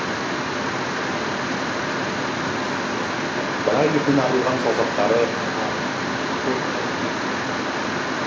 бірақ етінен арылған саусақтары қатаң менің қолымды берік тұтып тұр